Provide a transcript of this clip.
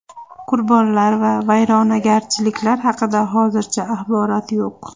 Qurbonlar va vayronagarchiliklar haqida hozircha axborot yo‘q.